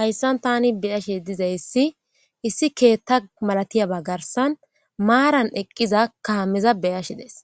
hayssan tani beyashe dizayssi issi keetta malatiyaba garsan maaran eqqiza kahameza beyashe des